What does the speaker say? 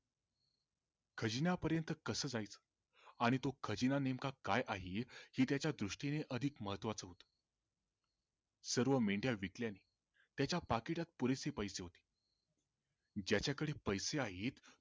खजिन्या पर्यंत कस जायच आणि तो खजिना नेमक काय आहे? हे त्याचा दृष्टीने अधिक महत्वाच होतं सर्व मेंढया विकल्याने त्याच्या पाकिटात पुरेसे पैसे होते ज्याचा कडे पैसे आहेत